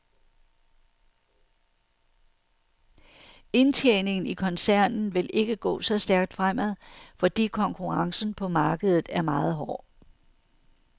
Indtjeningen i koncernen vil ikke gå så stærkt fremad, fordi konkurrencen på markedet er meget hård.